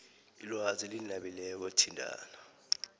ilwazi elinabileko thintana